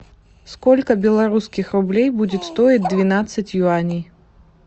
сколько белорусских рублей будет стоить двенадцать юаней